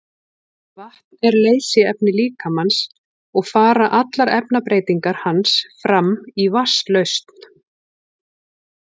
Vatn er leysiefni líkamans og fara allar efnabreytingar hans fram í vatnslausn.